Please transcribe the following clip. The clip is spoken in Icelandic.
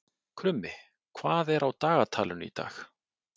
Krummi, hvað er á dagatalinu í dag?